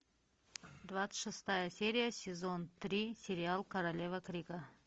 двадцать шестая серия сезон три сериал королева крика